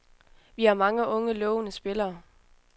Vi har mange unge, lovende spillere.